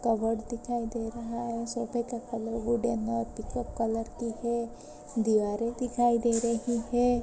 Cupboard दिखाई दे रहा है सोफे का कलर वो वुडेन और पीकॉक कलर की है दीवारें दिखाई दे रही है।